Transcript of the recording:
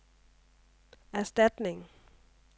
erstatning